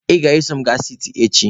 Ị ga-eso m gaa siti echi!.